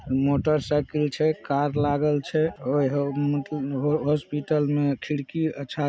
motorcycle छे car लागल छे ओए हो मो म हॉस्पिटल में खिड़की अच्छा --